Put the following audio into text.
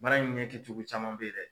Bana in ɲɛ cucugu caman bɛ ye dɛ.